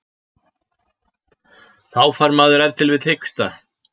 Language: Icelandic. Þá fær maður ef til vill hiksta.